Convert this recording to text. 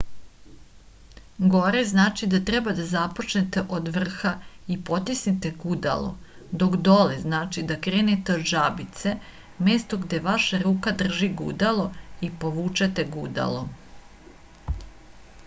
горе значи да треба да започнете од врха и потиснете гудало док доле значи да кренете од жабице место где ваша рука држи гудало и повучете гудало